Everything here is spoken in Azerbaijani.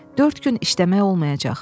Dörd gün işləmək olmayacaq.